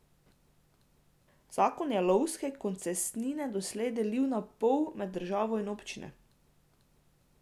Zakon je lovske koncesnine doslej delil na pol med državo in občine.